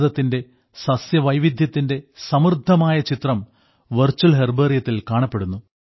ഭാരതത്തിന്റെ സസ്യവൈവിദ്ധ്യത്തിന്റെ സമൃദ്ധമായ ചിത്രം വെർച്വൽ ഹെർബേറിയത്തിൽ കാണപ്പെടുന്നു